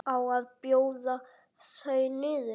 Á að bjóða þau niður?